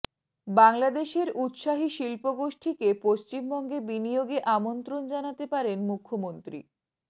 বাংলাদেশের উত্সাহী শিল্পগোষ্ঠীকে পশ্চিমবঙ্গে বিনিয়োগে আমন্ত্রণ জানাতে পারেন মুখ্যমন্ত্রী